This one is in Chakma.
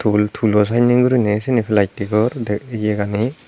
tool tool o sanne guri sini plastic or ye gani.